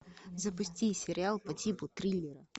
запусти сериал по типу триллера